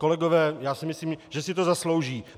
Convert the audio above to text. Kolegové, já si myslím, že si to zaslouží.